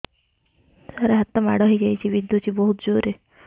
ସାର ହାତ ମାଡ଼ ହେଇଯାଇଛି ବିନ୍ଧୁଛି ବହୁତ ଜୋରରେ